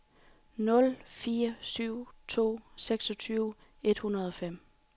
nul fire syv to seksogtyve et hundrede og fem